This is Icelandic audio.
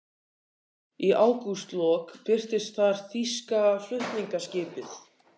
Í ágústlok birtist þar þýska flutningaskipið